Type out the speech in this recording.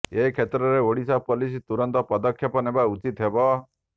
ଏ କ୍ଷେତ୍ରରେ ଓଡିଶା ପୋଲିସ ତୁରନ୍ତ ପଦକ୍ଷେପ ନେବା ଉଚିତ ହେବ